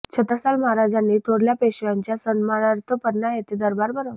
छत्रसाल महाराजांनी थोरल्या पेशव्यांच्या सन्मानार्थ पन्ना येथे दरबार भरवला